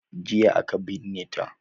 Jiya aka binne ta